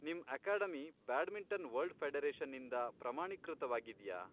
ನಿಮ್ academy badminton world ಫೆಡರೇಷನ್ನಿಂದ ಪ್ರಮಾಣೀಕೃತವಾಗಿದ್ಯಾ?